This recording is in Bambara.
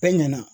Bɛɛ ɲɛna